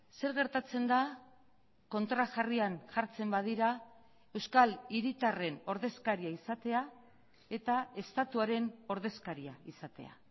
zer gertatzen da kontrajarrian jartzen badira euskal hiritarren ordezkaria izatea eta estatuaren ordezkaria izatea